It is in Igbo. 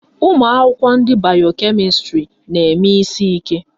Ụmụakwụkwọ ndị bayo kemịstrị na-eme isi ike.